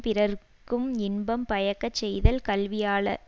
பிறர்க்கும் இன்பம் பயக்கச் செய்தல் கல்வியாலாமென்றது